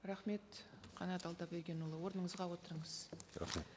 рахмет қанат алдабергенұлы орныңызға отырыңыз рахмет